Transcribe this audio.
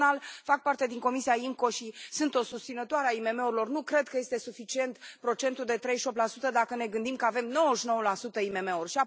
Personal, fac parte din Comisia IMCO și sunt o susținătoare a IMM urilor, nu cred că este suficient procentul de 38 dacă ne gândim că avem 99 la sută IMM uri.